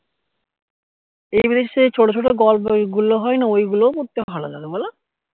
এদের সেই ছোট ছোট গল্প গুলো হয় না ওই গুলোও পড়তে ভালো লাগে বোলো